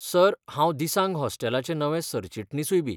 Sir, हांव दिसांग हॉस्टेलाचें नवें सरचिटणीसूयबी.